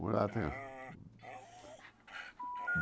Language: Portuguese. Mulata.